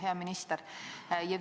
Hea minister!